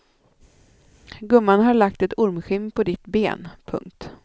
Gumman har lagt ett ormskinn på ditt ben. punkt